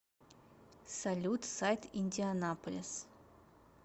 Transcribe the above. салют сайт индианаполис